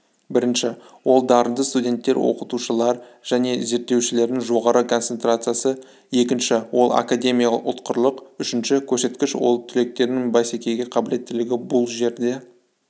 бірінші ол дарынды студенттер оқытушылар және зерттеушілердің жоғары концентрациясы екінші ол академиялық ұтқырлық үшінші көрсеткіш ол түлектердің бәсекеге қабілеттілігі бұл жерде